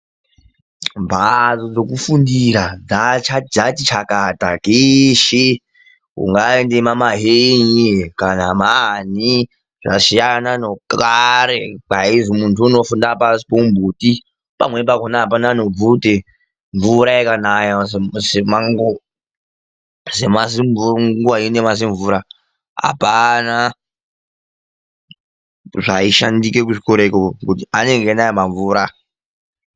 Mhatso dzekufundira dzati chakata kweshe kunyaange kwamaHenye kana maani zvasiyana nekare kwaizi vanhu vaifundira pashi pemuti pamweni pacho apana nebvute mvura ikanaya senguva ino yemazimvura apana chaishandika kuzvikora ikoko nekuti anenge einaya mamvura .